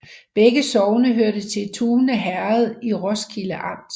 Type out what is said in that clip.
Begge sogne hørte til Tune Herred i Roskilde Amt